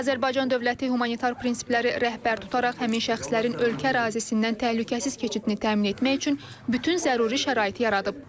Azərbaycan dövləti humanitar prinsipləri rəhbər tutaraq həmin şəxslərin ölkə ərazisindən təhlükəsiz keçidini təmin etmək üçün bütün zəruri şəraiti yaradıb.